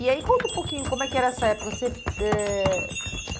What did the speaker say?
E aí, conta um pouquinho, como é que era essa época? Você eh